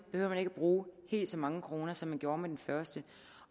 man ikke at bruge helt så mange kroner som man gjorde med den første